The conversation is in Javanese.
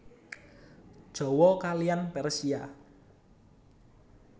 Jawa kaliyan Persia